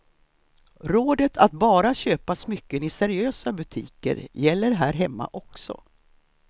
Rådet att bara köpa smycken i seriösa butiker gäller här hemma också.